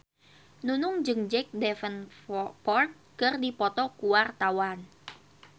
Nunung jeung Jack Davenport keur dipoto ku wartawan